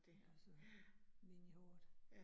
Ja og så vind i håret